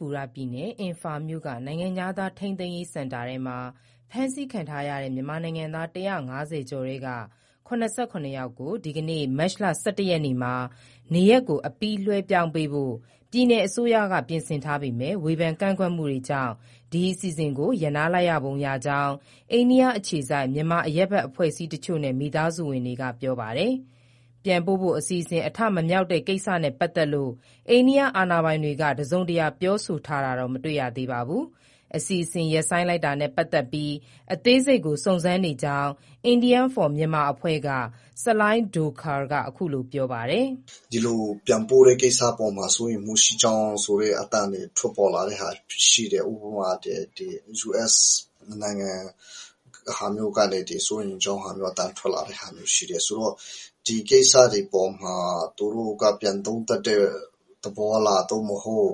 ပူရပြည်နယ်၊ အင်ဖာမြို့က နိုင်ငံခြားသား ထိန်းသိမ်းရေးစင်တာထဲမှာ ဖမ်းဆီးခံထားရတဲ့ မြန်မာနိုင်ငံသား ၁၅၀ ကျော်ထဲက ၇၇ ယောက်ကို ဒီနေ့မတ်လ ၁၁ရက်မှာ နေရပ်ကို အပြီး လွှဲပြောင်းပေးဖို့ ပြည်နယ်အစိုးရက ပြင်ဆင်ထားခဲ့ပေမဲ့ ဝေဖန်ကန့်ကွက်မှုတွေကြောင့် ဒီအစဉ်အစဉ်ကို ရပ်နားလိုက်ပုံရကြောင်း အိန္ဒိယအခြေစိုက် မြန်မာအရပ်ဘက်အဖွဲ့တချို့နဲ့ မိသားစုဝင်တွေက ပြောပါတယ်။ ပြန်ပို့ဖို့ အစီအစဉ် အထမမြောက်တဲ့ ကိစ္စနဲ့ ပတ်သက်လို့ အိန္ဒိယအာဏာပိုင်တွေက တစုံတရာ ပြောဆိုတာတော့ မတွေ့ရသေးပါဘူး။ အစီအစဉ် ရပ်ဆိုင်းလိုက်တာနဲ့ ပတ်သက်ပြီး အသေးစိတ်ကို စုံစမ်းနေကြောင်း India for Myanmar အဖွဲ့က ဆလိုင်းဒိုခါရ်က အခုလိုပြောပါတယ်။ " ဒီလိုပြန်ပို့တဲ့ကိစ္စအပေါ်မှာ စိုးရိမ်မှုရှိကြောင်းဆိုတဲ့ အသံတွေ ထွက်ပေါ်လာတဲ့ဟာတွေ ရှိတယ်၊ ဥပမာ US နိုင်ငံ ဟာမျိုးကလည်း စိုးရိမ်ကြောင်းအသံ ထွက်လာတဲ့ ဟာမျိုးရှိတယ်ဆိုတော့ ဒီကိစ္စတွေအပေါ်မှာ သူတို့က ပြန်သုံးသပ်တဲ့ သဘောလား၊ သို့မဟုတ်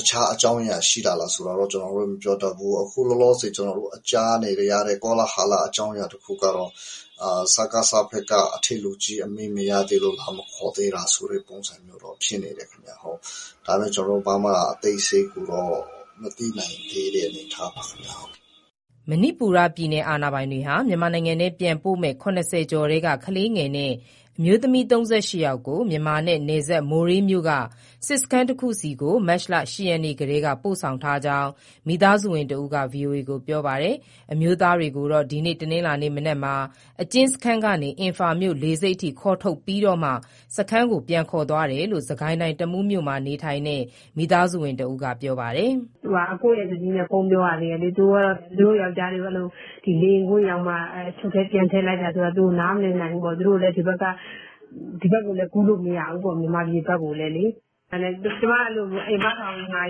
တခြားအကြောင်းအရာ ရှိတာလားဆိုတာ ကျနော်တို့ မပြောတတ်ဘူး။ အခုလောလောဆယ် ကျနော်တို့ ကြားနေရတဲ့ ကောလာဟလ အကြောင်းအရာ တခုကတော့ စကစဘက်က အထက်လူကြီးအမိန့် မရသေးလို့ လာမခေါ်သေးတာ ဆိုတဲ့ပုံစံမျိုး ရှိနေတယ်ခင်ဗျ။ ဒါပေမဲ့ ကျနော်တို့ ဘာမှအသေးစိတ် မသိနိုင်သေးတဲ့ အနေအထားပါဗျ။" မဏိပူရပြည်နယ်အာဏာပိုင်တွေဟာ မြန်မာနိုင်ငံထဲပြန်ပို့မဲ့ ၇၀ကျော်ထဲက ကလေးငယ်နဲ့ အမျိုးသမီး ၃၈ ယောက်ကို မြန်မာနဲ့နယ်စပ် မိုရေးမြို့က စစ်စခန်းတခုဆီကို မတ်လ၈ရက်ကတည်းက ပို့ဆောင်ထားကြောင်း မိသားစုဝင်တဦးက ဗွီအိုအေကို ပြောပါတယ်။ အမျိုးသားတွေကိုတော့ ဒီနေ့ တနင်္လာနေ့မနက်မှာ အကျဉ်းစခန်းကနေ အင်ဖာမြို့လေဆိပ်အထိ ခေါ်ထုတ်ပြီးမှ စခန်းကို ပြန်ခေါ်သွားကြောင်း စစ်ကိုင်းတိုင်း၊ တမူးမြို့မှာ နေထိုင်တဲ့ မိသားစုဝင်တဦးက ပြောပါတယ်။ အကို့ရဲ့ဇနီးနဲ့ ဖုန်းပြောရတယ် သူတို့ယောကျ်ားတွေကို လေယာဉ်ကွင်းရောက်မှ အချုပ်ထဲ ပြန်ထည့်လိုက်တာဆိုတော့ သူတို့နားမလည်နိုင်ဘူးပေါ့၊ သူတို့လည်း ဒီဘက် ကူးလို့မရဘူပေါ့ မြန်မာပြည်ဘက်ကိုလည်း။ ကျမ ထောင်မကြီးကို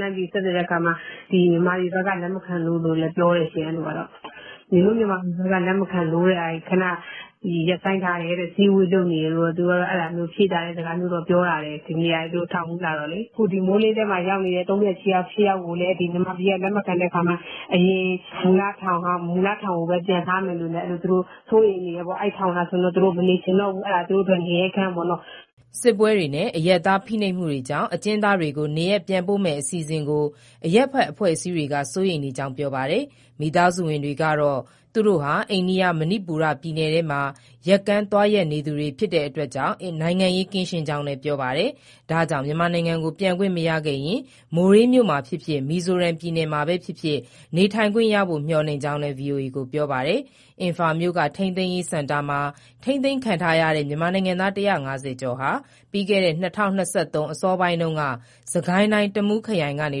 လှမ်းဆက်သွယ်တဲ့အခါမှာ မြန်မာပြည်ဘက်က လက်မခံလို့ လို့လည်း ပြောတယ်ရှင့်။ နင်တို့မြန်မာပြည်ဘက်က လက်မခံလို့ ခဏရပ်ဆိုင်းထားတယ်တဲ့ အစည်းအဝေး လုပ်နေတယ်လို့ ဖြေသာတဲ့စကားပြောလာတယ် ဒီနေ့ သူတို့ထောင်မှူးလာတော့လေ။ အခု မိုရေး ကို ရောက်နေတဲ့ ၃၈ယောက်ကိုလည်း မြန်မာပြည်က လက်မခံတဲ့အခါမှာ အရင်မူလထောင်ကိုပဲ ပြန်ထားမယ်ဆိုလို့ သူတို့စိုးရိမ်နေတယ်၊ အဲဒီထောင်မှာ သူတို့မနေချင်တော့ဘူး အဲဒါသူတို့အတွက် ငရဲခန်းပေါ့နော်။" စစ်ပွဲတွေနဲ့ အရပ်သားဖိနှိပ်မှုတွေကြောင့် အကျဉ်းသားတွေကို နေရပ်ပြန်ပို့မဲ့အစီအစဉ်ကို အရပ်ဘက်အဖွဲ့တွေက စိုးရိမ်ကြောင်း ပြောပါတယ်။ မိသားစုဝင်တွေကတော့ သူတို့ဟာ အိန္ဒိယ၊ မဏိပူရပြည်နယ်ထဲမှာ ယက်ကန်းသွားရက်သူတွေဖြစ်လို့ နိုင်ငံရေးကင်းရှင်းကြောင်း ပြောပါတယ်။ ဒါကြောင့် မြန်မာနိုင်ငံကို ပြန်ခွင့်မရခဲ့ရင် မိုရေးမြို့မှာဖြစ်ဖြစ် မီဇိုရမ်ပြည်နယ်မှာဖြစ်ဖြစ် နေခွင့်ရနိုင်ဖို့ မျှော်လင့်ကြောင်း ဗွီအိုအေကို ပြောပါတယ်။ အင်ဖာမြို့က ထိန်းသိမ်းရေးစင်တာမှာ ထိန်းသိမ်းခံထားရတဲ့ မြန်မာနိုင်ငံသား ၁၅၀ ကျော်ဟာ ပြီးခဲ့တဲ့ ၂၀၂၃ အစောပိုင်းတုန်းက စစ်ကိုင်းတိုင်း၊ တမူးခရိုင်ကနေ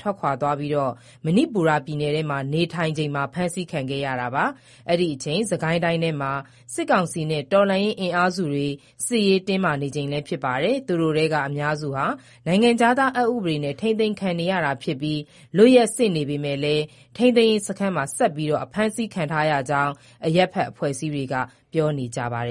ထွက်ခွာပြီး မဏိပူရပြည်နယ်ထဲမှာ နေထိုင်နေချိန် ဖမ်းဆီးခံခဲံရတာပါ။ အဲဒီအချီန် စစ်ကိုင်းတိုင်းထဲမှာ စစ်ကောင်စီနဲ့ တော်လှန်ရေးအင်အားစုတွေ စစ်ရေးတင်းမာနေချိန်လည်း ဖြစ်ပါတယ်။ သူတို့ထဲက အများစုဟာ နိုင်ငံခြားသားအက်ဥပဒေနဲ့ ထိန်းသိမ်းခံရတာဖြစ်ပြီး လွတ်ရက်စေ့နေပေမဲ့ ထိန်းသိမ်းရေးစခန်းမှာပဲ ဆက်ပြီး ဖမ်းဆီးခံထားရကြောင်း အရပ်ဘက်အဖွဲ့အစည်းတွေက ပြောနေကြပါတယ